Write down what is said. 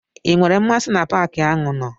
I nwere mmasị na paki ahụ nọ?